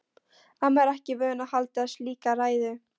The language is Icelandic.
Amma er ekki vön að halda slíka ræðu.